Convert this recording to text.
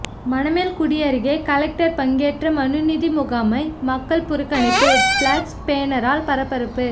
மணமேல்குடி அருகே கலெக்டர் பங்கேற்ற மனுநீதி முகாமை மக்கள் புறக்கணிப்பு பிளக்ஸ் பேனரால் பரபரப்பு